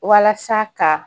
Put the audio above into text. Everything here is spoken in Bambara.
Walasa ka